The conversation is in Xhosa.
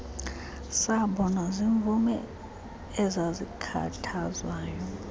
sabonwa ziimvumi ezazikhathazwayo